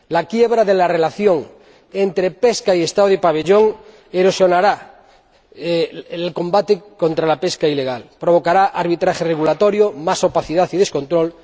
La quiebra de la relación entre pesca y Estado del pabellón erosionará el combate contra la pesca ilegal, provocará un arbitraje regulatorio y más opacidad y descontrol.